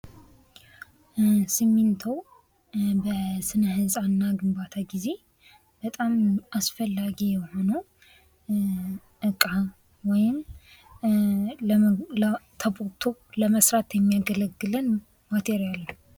ሲሚንቶ በስነ ህንጻ እና ግንባታ ጊዜ በጣም ማስፈላጊ የሆነው እቃ ወይም ተቦክቶ ለመሰራት የሚያገለግለን ማቴርያል ነው።